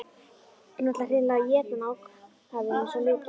Hún ætlar hreinlega að éta hann, ákafinn er svo mikill.